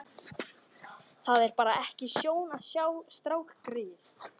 Það er bara ekki sjón að sjá strákgreyið.